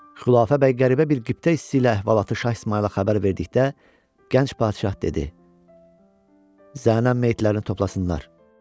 Xülafə bəy qəribə bir qiptə hissi ilə əhvalatı Şah İsmayıla xəbər verdikdə, gənc padşah dedi: "Zənən meyitlərini toplasınlar.